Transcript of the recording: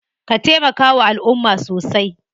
Ka taimakawa alumma sosai.